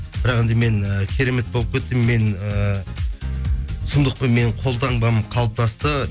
бірақ енді мен і керемет болып кеттім мен ііі сұмдықпын менің қол таңбам қалыптасты